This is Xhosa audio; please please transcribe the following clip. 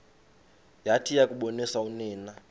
yathi yakuboniswa unina